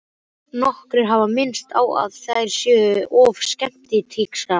Nokkrir hafa minnst á að þær séu of symmetrískar.